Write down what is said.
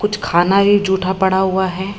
कुछ खाना ही झूठा पड़ा हुआ है।